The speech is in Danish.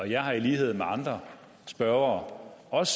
jeg har i lighed med andre spørgere også